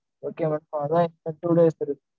okay madam. அதான் இன்னு two days இருக்கு